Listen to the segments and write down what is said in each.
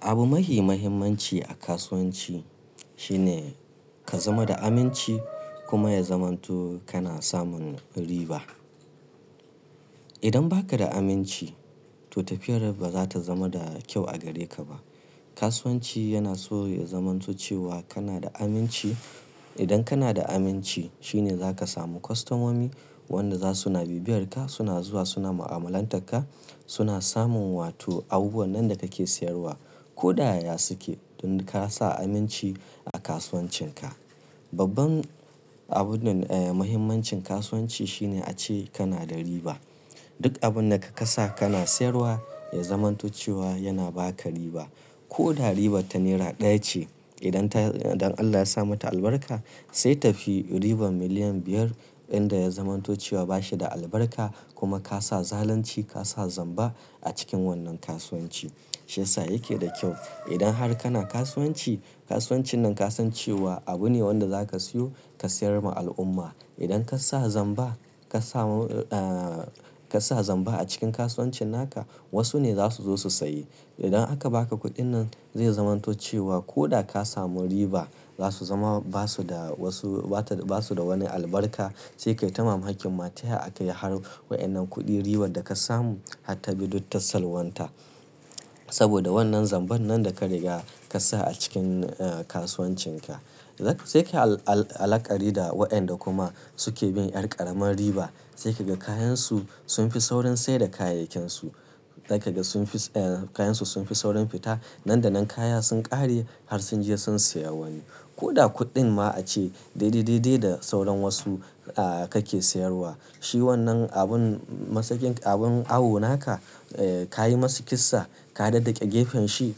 Abu mahi muhimmanci a kasuwanci shine ka zama da aminci kuma ya zamanto kana samun riba. Idan baka da aminci to tafiyar ba za ta zama da kyau a gare ka ba. Kasuwanci yana so ya zamanto cewa kana da aminci. Idan kana da aminci shine za ka samu kwastamomi wanda za suna bibiyar ka, suna zuwa suna mu'amalantar ka, suna samun wato abubuwan nan da ka ke siyarwa. Ko da ya ya su ke don ka sa aminci a kasuwancin ka. Babban abun eh muhimmancin kasuwanci shine ace kana da riba. Duk abun da ka kasa kana siyarwa ya zamanto cewa yana ba ka riba. Ko da ribar ta naira ɗaya ce idan ta idan Allah ya sa mata albarka sai tafi ribar miliyan biyar inda ya zamanto cewa ba shi da albarka kuma ka sa zalunci ka sa zamba a cikin wannan kasuwanci. Shi yasa yake da kyau idan har kana kasuwanci, kasuwancin nan ka san cewa abu ne wanda za ka siyo ka siyar ma al'umma. Idan ka sa zamba ka samu eh ka sa zamba a cikin kasuwancin naka wasu ne za su zo su sayi. Idan aka ba ka kuɗin nan zai zamanto cewa ko da ka samu riba za su zama ba su da wasu bata basu da wani albarka sai ka yi ta mamakin mataya a kai har wa'inan kuɗin ribar da ka samu har ta bi duk ta salwanta. Saboda wannan zambar nan da ka riga ka sa a cikin eh kasuwancin ka. Sai sai ka yi al-al-alƙari da wa'an da kuma su ke bin ƴar ƙaramar riba sai ka ga kayan su sun fi saurin saida kayayyakin su. Zai ka ga sun fi eh kayan su sun fi saurin fita, nan da nan kaya sun ƙare har sun je sun saya wani. Ko da kuɗin ma ace dai-dai-dai-dai da saurin wasu eh ka ke siyarwa. Shi wannan abun masakin abun awo naka eh ka yi masa kissa, ka daddake gefen shi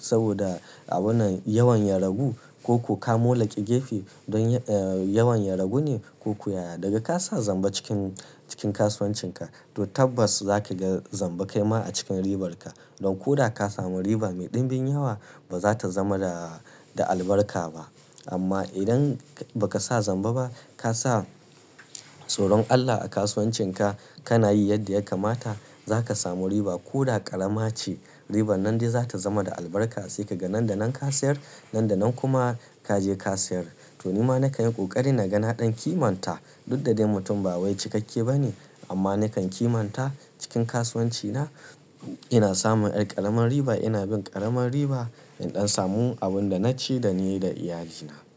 saboda abun nan yawan ya ragu ko ko ka molaƙe gefe don eh yawan ya ragu ne ko ku ya ya. Da ga ka sa zamba cikin cikin kasuwancin ka to tabbas za ka ga zamba kai ma a cikin ribar ka. Don ko da ka samu riba mai ɗimbin yawa ba za ta zama da da albarka ba. Amma idan baka sa zamba ba ka sa tsoron Allah a kasuwancin ka, kana yi yadda ya kamata za ka samu riba ko da ƙarama ce ribar nan dai za ta zama da albarka sai ka ga nan da nan ka siyar nan da nan kuma ka je ka siyar. To ni ma na kan yi ƙoƙari na ga na ɗan kimanta. Duk da dai mutum ba wai cikakke ba ne amma na kan kimanta cikin kasuwanci na ina samun ƴar ƙaramar riba, ina bin ƙaramar riba in ɗan samu abun da na ci da ni da iyalina.